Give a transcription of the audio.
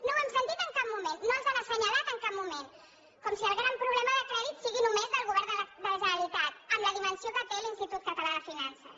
no ho hem sentit en cap moment no els han assenyalat en cap moment com si el gran problema del crèdit fos només del govern de la generalitat amb la dimensió que té l’institut català de finances